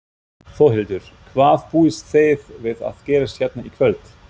Þórhildur: Hvað búist þið við að gerist hérna í kvöld?